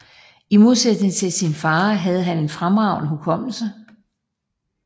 I modsætning til sin far havde han en fremragende hukommelse